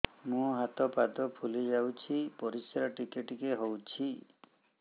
ମୁହଁ ହାତ ପାଦ ଫୁଲି ଯାଉଛି ପରିସ୍ରା ଟିକେ ଟିକେ ହଉଛି